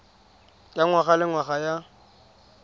ya ngwaga le ngwaga ya